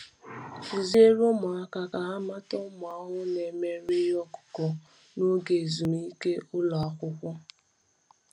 Kụziere ụmụaka ka ha mata ụmụ ahụhụ na-emerụ ihe ọkụkụ n’oge ezumike ụlọ akwụkwọ.